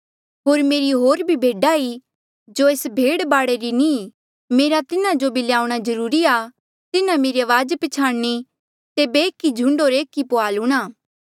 होर मेरी होर भी भेडा ई जो एस भेड बाड़े री नी ई मेरा तिन्हें जो भी ल्याऊणा जरूरी आ तिन्हा मेरी अवाज पछयाणी तेबे एक ई झुंड होर एक ई पुहाल हूंणां